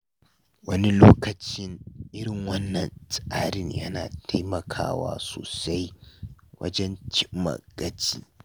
Wani lokacin irin wannan tsarin yana taimakawa sosai wajen cimma gaci.